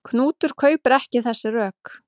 Knútur kaupir ekki þessi rök.